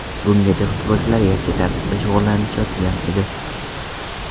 Bungacha futbolchilar yakka tartibda shug‘ullanishayotgan edi.